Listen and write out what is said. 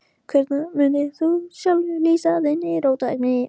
Hvernig mundir þú sjálfur lýsa þinni róttækni?